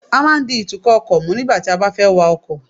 A máa ń di ìtúkò ọkò mú nígbà tí a bá fé wa ọkò